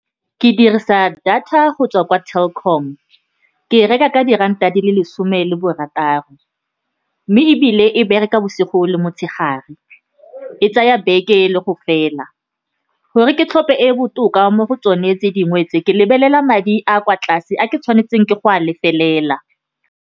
Ke dirisa data go tswa kwa Telkom, ke e reka ka diranta di le lesome le barataro, mme ebile e bereka bosigo le motshegare, e tsaya beke le go fela. Gore ke tlhophe e e botoka mo go tsone tse dingwe tse, ke lebelela madi a kwa tlase a ke tshwanetseng ke go a lefelela.